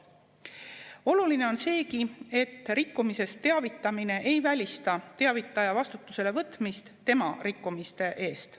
Oluline on seegi, et rikkumisest teavitamine ei välista teavitaja vastutusele võtmist tema rikkumiste eest.